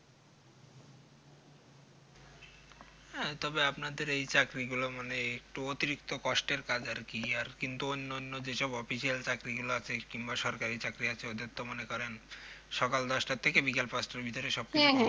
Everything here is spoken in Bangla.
হ্যাঁ আপনাদের এই চাকরিগুলো মানে উম একটু অতিরিক্ত কষ্টের কাজ আরকি কিন্তু অন্যান্য যেসব Official চাকরিগুলো আছে কিংবা সরকারি চাকরি আছে ওদের তো মনে করেন সকাল দশ টার থেকে বিকেল পাঁচ টার মধ্যে সবকিছু হয়ে যায়